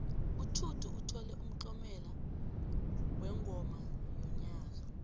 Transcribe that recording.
utjhudu uthole umtlomelo wengoma yonyaka